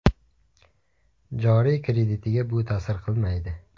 Joriy kreditiga bu ta’sir qilmaydi.